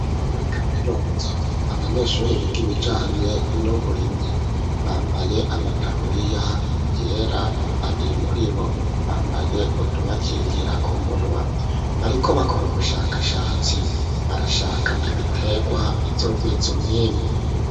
muri kaminuza abanyeshure biga ibijanye n'uburimyi bambaye amataburiya yera babiri muri bo bambaye utubakingira ku munwa bariko bakora ubushakashatsi barashaka ibitegwa bizogwiza umwimbu.